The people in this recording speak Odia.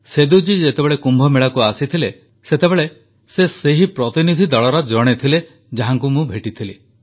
ସେଦୁ ଜୀ ଯେତେବେଳେ କୁମ୍ଭମେଳାକୁ ଆସିଥିଲେ ସେତେବେଳେ ସେ ସେହି ପ୍ରତିନିଧିଦଳର ଜଣେ ଥିଲେ ଯାହାଙ୍କୁ ମୁଁ ଭେଟିଥିଲି